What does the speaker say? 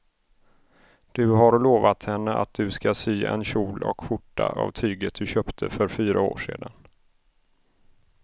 Du har lovat henne att du ska sy en kjol och skjorta av tyget du köpte för fyra år sedan.